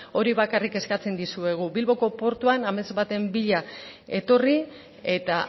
hori bakarrik eskatzen dizuegu bilboko portuan amets baten bila etorri eta